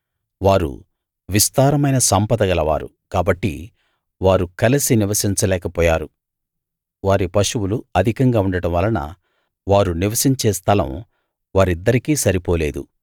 వారు విస్తారమైన సంపద గలవారు కాబట్టి వారు కలిసి నివసించలేక పోయారు వారి పశువులు అధికంగా ఉండడం వలన వారు నివసించే స్థలం వారిద్దరికీ సరిపోలేదు